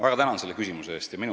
Väga tänan selle küsimuse eest!